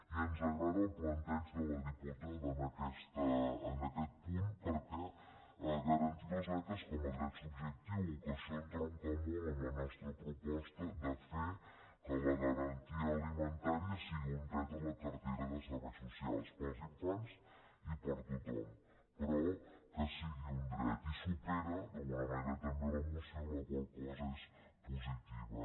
i ens agrada el planteig de la diputada en aquest punt perquè garantir les beques com a dret subjectiu que això entronca molt amb la nostra proposta de fer que la garantia alimentària sigui un dret a la cartera de serveis socials per als infants i per a tothom però que sigui un dret i supera d’alguna manera també la moció la qual cosa és positiva